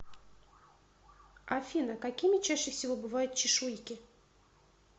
афина какими чаще всего бывают чешуйки